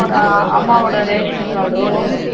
அம்மாவோட ration card